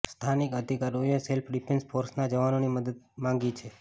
સ્થાનિક અધિકારીઓએ self defence ફોર્સના જવાનોની મદદ માંગી છે